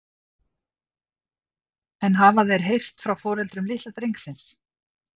En hafa þeir heyrt frá foreldrum litla drengsins?